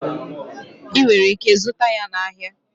Ị nwere ike ịzụta ya na ahịa.